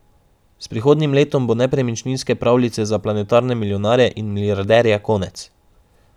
S prihodnjim letom bo nepremičninske pravljice za planetarne milijonarje in milijarderje konec.